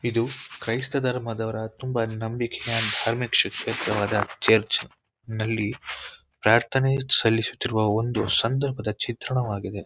ಇದು ಕ್ರೈಸ್ತ ಧರ್ಮದವರ ತುಂಬ ನಂಬಿಕೆಯ ಧಾರ್ಮಿಕವಾದ ಚರ್ಚ್ ನಲ್ಲಿ ಪ್ರಾರ್ಥನೆ ಸಲ್ಲಿಸುತಿರುವ ಒಂದು ಸಂದರ್ಭದ ಚಿತ್ರಣವಾಗಿದೆ.